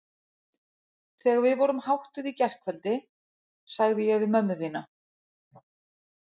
Þegar við vorum háttuð í gærkveldi sagði ég við mömmu þína